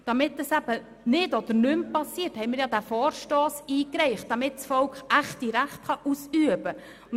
Diesen Vorstoss haben wir ja eingereicht, damit das Volk echte Rechte ausüben kann.